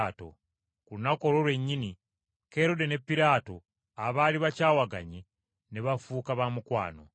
Ku lunaku olwo lwennyini, Kerode ne Piraato, abaali bakyawaganye, ne bafuuka ba mukwano.